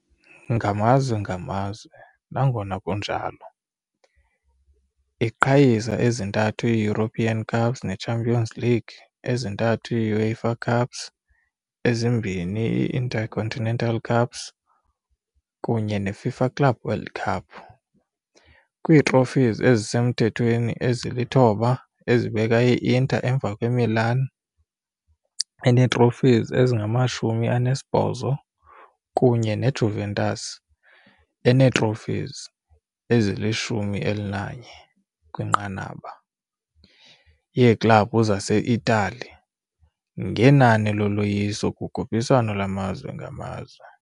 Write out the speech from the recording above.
Ngamazwe ngamazwe, nangona kunjalo, iqhayisa ezintathu ii-European Cups neChampions League, ezintathu ii-UEFA Cups, ezimbini ii -Intercontinental Cups kunye ne-FIFA Club World Cup, kwii-trophies ezisemthethweni ezi-9 ezibeka i-Inter emva kwe-Milan enee-trophies ezili-18 kunye ne-Juventus enee-trophies ezili-11 kwinqanaba yeeklabhu zase-Italiya ngenani loloyiso kukhuphiswano lwamazwe ngamazwe.